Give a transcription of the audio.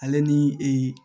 Ale ni ee